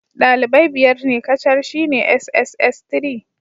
Dalibai biyar ne kacal shine sss3.